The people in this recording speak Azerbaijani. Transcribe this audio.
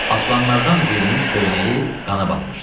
Aslanlardan birinin köynəyi qana batmışdı.